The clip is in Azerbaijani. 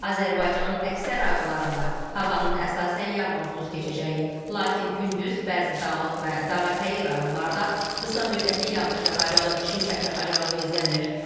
Azərbaycanın əksər rayonlarında havanın əsasən yağmursuz keçəcəyi, lakin gündüz bəzi dağlıq və dağətəyi rayonlarda qısa müddətli yağış yağacağı, şimşək çaxacağı gözlənilir.